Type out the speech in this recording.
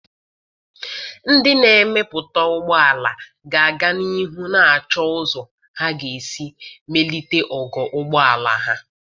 Ndị na-emepụta ụgbọ ala ga-aga n'ihu na-achọ ụzọ ha ga-esi melite ogo ụgbọ ala ha.